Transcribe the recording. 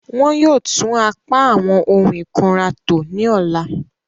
Wọn yóò tun apa awọn ohun ikunra to ni ọla.